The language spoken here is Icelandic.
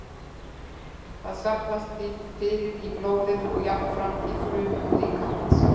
Það safnast því fyrir í blóðinu og jafnframt í frumum líkamans.